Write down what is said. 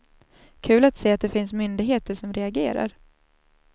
Kul att se att det finns myndigheter som reagerar.